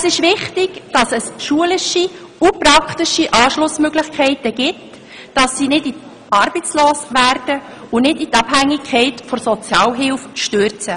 Es ist wichtig, dass es schulische und praktische Anschlussmöglichkeiten gibt, damit sie nicht arbeitslos werden und von der Sozialhilfe abhängig werden.